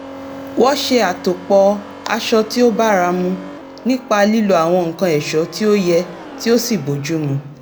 wọ́n ṣe àtòpò̩ aṣọ tí ó báramu nípa lílo àwọn nǹkan è̩só̩ tí ó ye̩ tí ó sì bójúmu